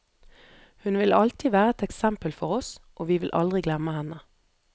Hun vil alltid være et eksempel for oss, og vi vil aldri glemme henne.